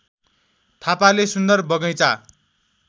थापाले सुन्दर बगैँचा